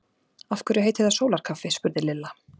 Af hverju heitir það sólarkaffi? spurði Lilla.